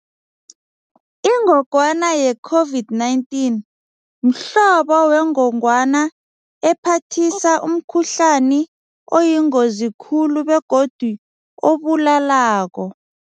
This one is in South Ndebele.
Ingogwana ye COVID-19 mhlobo wengongwana ephathisa umkhuhlani oyingozi khulu begodu obulalako.